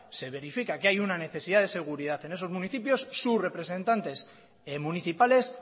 ser verifica que hay una necesidad de seguridad en esos municipios sus representantes municipales